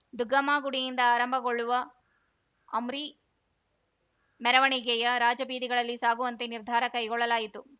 ದುಗ್ಗಮ್ಮ ಗುಡಿಯಿಂದ ಆರಂಭಗೊಳ್ಳುವ ಅಂರಿ ಮೆರವಣಿಗೆಯ ರಾಜಬೀದಿಗಳಲ್ಲಿ ಸಾಗುವಂತೆ ನಿರ್ಧಾರ ಕೈಗೊಳ್ಳಲಾಯಿತು